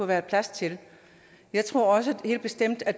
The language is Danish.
være plads til jeg tror også helt bestemt at